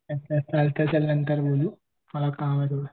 अच्छा चालतंय चल नंतर बोलू मला काम आहे थोडं